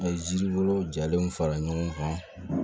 A ye jiribolo jalen fara ɲɔgɔn kan